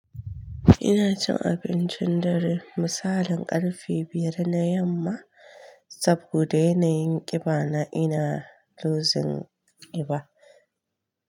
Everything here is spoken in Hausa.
Ina cin abincin dare misalin ƙarfe biyar na yamma saboda yana yin ƙiba na ina losing ƙiba.